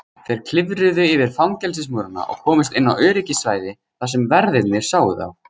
Þeir klifruðu yfir fangelsismúrana og komust inn á öryggissvæði þar sem verðirnir sáu þá.